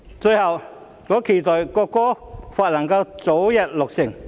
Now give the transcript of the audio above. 最後，我期待《條例草案》早日落實。